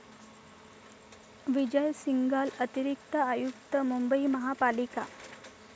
विजय सिंघल, अतिरिक्त आयुक्त, मुंबई महापालिका.